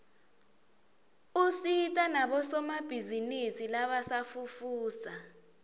usita nabosomabhizinisi labasafufusa